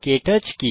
কে touch কি